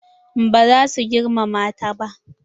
Ba za su girmama ta ba.